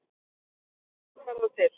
Rússar verða til